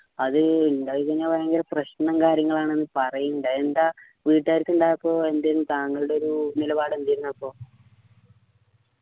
അത് ഉണ്ടായിക്കഴിഞ്ഞാൽ ഭയങ്കര പ്രശ്നം കാര്യങ്ങൾ ആണെന്ന് പറീന്നിണ്ടു എന്താ വീട്ടുകാർക്ക് ഉണ്ടായപ്പോൾ എന്തേനു താങ്കളുടെ ഒരു നിലപാട് എന്തായിരുന്നു അപ്പോ